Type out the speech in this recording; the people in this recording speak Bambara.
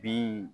Bin